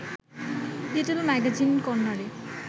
little magazine কর্ণারে